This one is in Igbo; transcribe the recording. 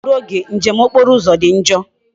Ufodu oge njem okporo uzo di njoo